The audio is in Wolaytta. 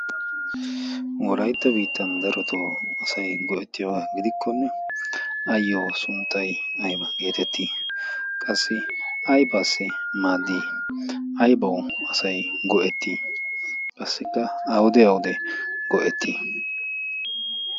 Wolaytta biittan asayi darotoo go"ettioogaa gidikkonne ayyoo sunttayi aybaa geetettii? Qassi aybaassai maaddii? Aybawu asay go"ettii? Qassikka awude awude go"ettii?